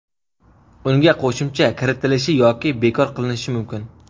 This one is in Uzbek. unga qo‘shimcha kiritilishi yoki bekor qilinishi mumkin.